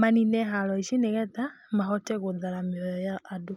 manine haro ici nĩgetha mahote gũthara mĩoyo ya andũ.